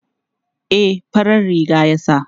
E, farar riga ya sa.